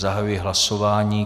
Zahajuji hlasování.